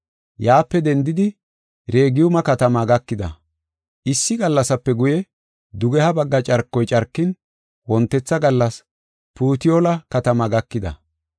Yaape dendidi Regiyume katamaa gakida. Issi gallasape guye, dugeha bagga carkoy carkin, wontetha gallas Putiyoola katamaa gakida.